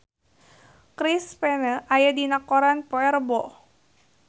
Chris Pane aya dina koran poe Rebo